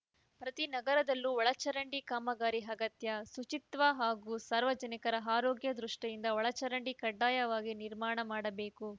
ಪ್ರತಿ ನಗರದಲ್ಲೂ ಒಳಚರಂಡಿ ಕಾಮಗಾರಿ ಅಗತ್ಯ ಶುಚಿತ್ವ ಹಾಗೂ ಸಾರ್ವಜನಿಕರ ಆರೋಗ್ಯ ದೃಷ್ಟಿಯಿಂದ ಒಳಚರಂಡಿ ಕಡ್ಡಾಯವಾಗಿ ನಿರ್ಮಾಣ ಮಾಡಬೇಕು